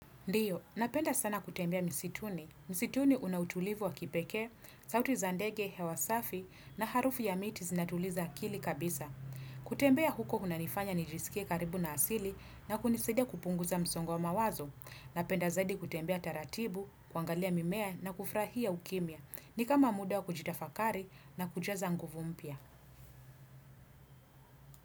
Ndio, napenda sana kutembea misituni. Msituni unautulivu wa kipekee, sauti zandege, hewasafi na harufu ya miti zinatuliza akili kabisa. Kutembea huko unanifanya nijiskie karibu na asili na kunisaidia kupunguza msongo wa mawazo. Napenda zaidi kutembea taratibu, kuangalia mimea na kufrahia ukimya. Ni kama muda wa kujita fakari na kuja za nguvu mpya.